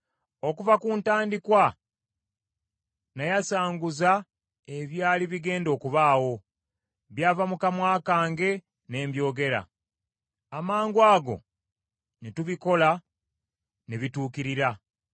Okuva ku ntandikwa, nayasanguza ebyali bigenda okubaawo; byava mu kamwa kange ne mbyogera. Amangwago ne tubikola ne bituukirira.”